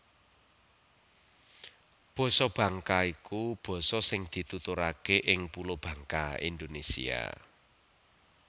Basa Bangka iku basa sing dituturaké ing Pulo Bangka Indonésia